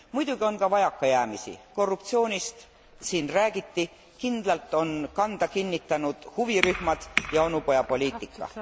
Muidugi on ka vajakajäämisi, korruptsioonist siin räägiti, kindlalt on kanda kinnitanud huvirühmad ja onupojapoliitika.